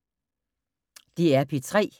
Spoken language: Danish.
DR P3